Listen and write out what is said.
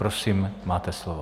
Prosím, máte slovo.